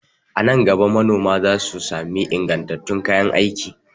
A nan gaba manoma za su sami ingantattun kayan aiki.